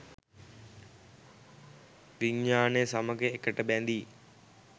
විඥානය සමග එකට බැඳී